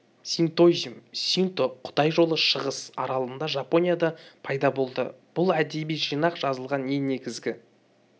синтоизм синто құдай жолы шығыс аралында жапонияда пайда болды бұл әдеби жинақ жазылған ең негізгі